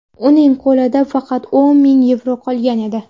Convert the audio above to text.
Uning qo‘lida faqat o‘n ming yevro qolgan edi.